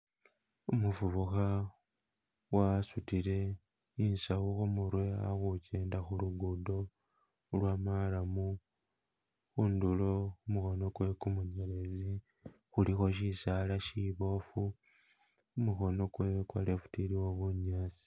Umufubukha wasudile isawu kumurwe ali hujenda khulugudo lwa marram hundulo khumukono gwe gumunyelezi kulikho chisaala shiboofu kumukono gwe gwa left iliwo bunyasi.